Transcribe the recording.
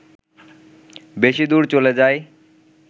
বেশি দূর চলে যায়